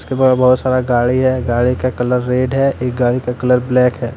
बहो सारा गाड़ी है गाड़ी का कलर रेड है एक गाड़ी का कलर ब्लैक है।